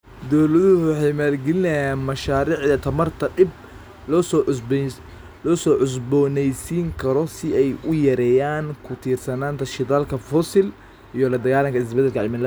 Dawladuhu waxay maalgelinayaan mashaariicda tamarta dib loo cusboonaysiin karo si ay u yareeyaan ku tiirsanaanta shidaalka fosil iyo la dagaalanka isbedelka cimilada.